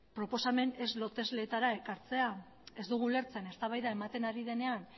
proposamen ez lotesleetara ekartzea ez dugu ulertzen eztabaida ematen ari denean